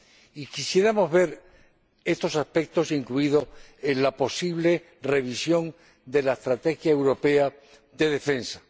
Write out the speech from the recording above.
Y quisiéramos ver estos aspectos incluidos en la posible revisión de la estrategia europea de defensa.